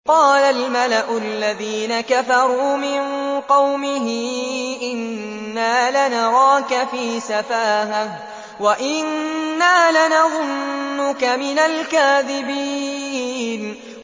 قَالَ الْمَلَأُ الَّذِينَ كَفَرُوا مِن قَوْمِهِ إِنَّا لَنَرَاكَ فِي سَفَاهَةٍ وَإِنَّا لَنَظُنُّكَ مِنَ الْكَاذِبِينَ